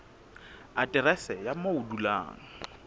aterese ya moo o dulang